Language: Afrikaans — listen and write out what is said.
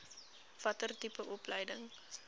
watter tipe opleiding